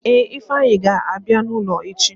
Ee, ifeanyi ga-abịa n'ụlọ echi.